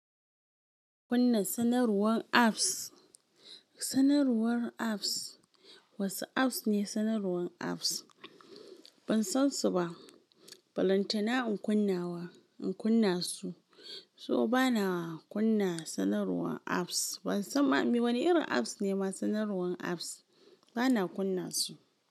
Kunna sanarwar apps. Sanarwar apps, wasu apps ne sanarwar apps. Ban san su ba. Balantana in kunna wa, in kunna su. To bana kunna sanarwar apps. Ban san ma me wani irin apps ne ma sanarwar apps. Bana kunna su.